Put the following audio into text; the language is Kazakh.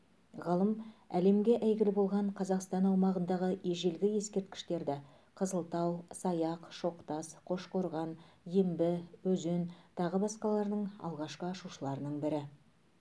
ғалым әлемге әйгілі болған қазақстан аумағындағы ежелгі ескерткіштерді қызылтау саяқ шоқтас қошқорған ембі өзен тағы басқаларының алғашқы ашушылардың бірі